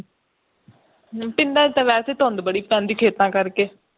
ਪਿੰਡਾਂ ਚ ਤਾ ਵੈਸੇ ਹੀ ਧੂਦਾ ਬੜੀਆਂ ਪੈਂਦ ਬੜੀ ਪੈਂਦੀ ਖੇਤਾਂ ਕਰਕੇ